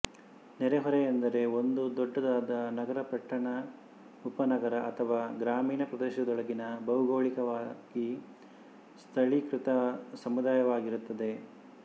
ನೆರೆಹೊರೆ ಎಂದರೆ ಒಂದು ದೊಡ್ಡದಾದ ನಗರ ಪಟ್ಟಣ ಉಪನಗರ ಅಥವಾ ಗ್ರಾಮೀಣ ಪ್ರದೇಶದೊಳಗಿನ ಭೌಗೋಳಿಕವಾಗಿ ಸ್ಥಳೀಕೃತ ಸಮುದಾಯವಾಗಿರುತ್ತದೆ